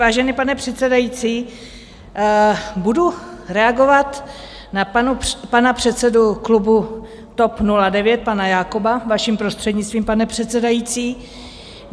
Vážený pane předsedající, budu reagovat na pana předsedu klubu TOP 09, pana Jakoba, vaším prostřednictvím, pane předsedající.